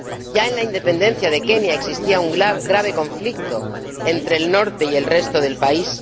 Ya en la independencia de Kenia existía un grave conflicto entre el norte y el resto del país.